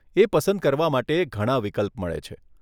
એ પસંદ કરવા માટે ઘણાં વિકલ્પ મળે છે.